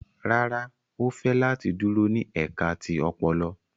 Rárá, o fẹ lati duro ni ẹka ti ọpọlọ